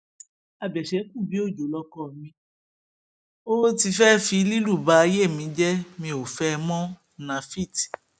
abẹ̀ṣẹ́kùbíòjò lọkọ mi ó ti fẹẹ fi lílù ba ayé mi jẹ mi ò fẹ ẹ mọ́ nafit